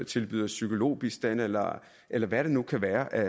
tilbyder psykologbistand eller eller hvad det nu kan være af